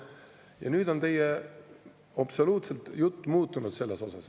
Ja nüüd on teie jutt absoluutselt muutunud selle kohta.